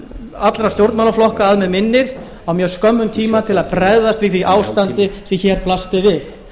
allra stjórnmálaflokka að mig minnir á mjög skömmum tíma til að bregðast við því ástandi sem hér blasti við